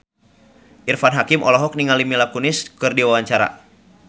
Irfan Hakim olohok ningali Mila Kunis keur diwawancara